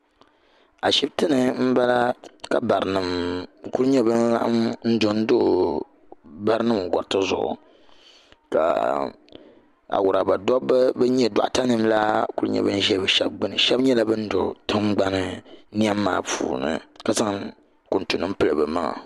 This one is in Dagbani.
Ashibiti ni n bala ka bari nima kuli nyɛ bani laɣim n do n do bari nima gariti zuɣu ka awuraba dabba bani nyɛ dɔɣita nima la kuli nyɛ bani n zɛ bi shɛba gbuni shɛba nyɛla bani do tiŋgbani nim maa puuni ka zaŋ kuŋtu nima n pili bi maŋa.